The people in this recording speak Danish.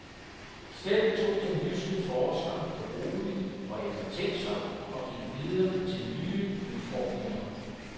Selv tog den jyske forsker det roligt og eftertænktsomt og gik videre til nye udfordringer.